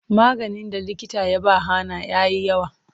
Maganin da likita ya ba Hannah yayi yawa.